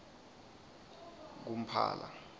kumphala